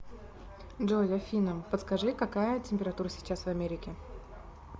джой афина подскажи какая температура сейчас в америке